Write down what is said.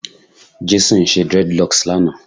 Jason ṣe dreadlocks lana